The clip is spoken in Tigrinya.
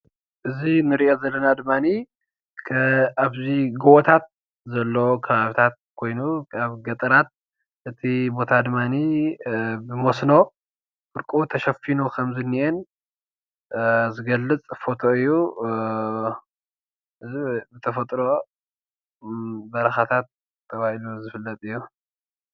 እዚ ንሪኦ ዘለና ድማ ኣብዚ ጎቦታት ዘለዎ ከባቢታት ኮይኑ ኣብ ገጠራት እቲ ቦታ ድማ ብመስኖ ፍርቁ ተሸፊኑ ከምዝኒአን ዝገልፅ ፎቶ እዩ፡፡ እዚ ብተፈጥሮ በረኻታት ተባሂሉ ዝፍለጥ እዩ፡፡